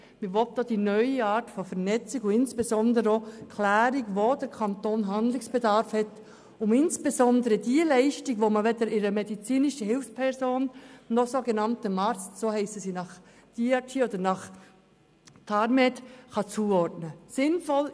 Man will auch die neue Art der Vernetzung und insbesondere auch die Klärung, wo der Kanton Handlungsbedarf hat, um die Leistung, die man weder einer medizinischen Hilfsperson noch einem sogenannten Arzt – so heissen die Leute gemäss DRG oder nach TARMED – zuordnen kann.